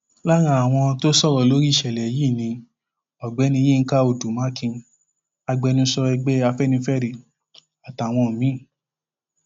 lára àwọn tó sọrọ lórí ìṣẹlẹ yìí ni ọgbẹni yinka odù mákín agbẹnusọ ẹgbẹ afẹnifẹre àtàwọn míín